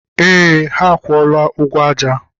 Eé, ha akwụọla ụgwọ aja.